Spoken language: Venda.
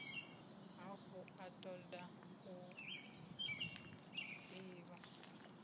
hafhu a toda u divha